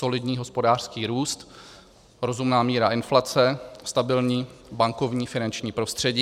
Solidní hospodářský růst, rozumná míra inflace, stabilní bankovní finanční prostředí.